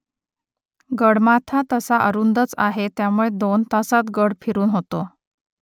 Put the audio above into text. गडमाथा तसा अरुंदच आहे त्यामुळे दोन तासांत गड फिरून होतो